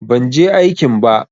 Ban je aikin ba.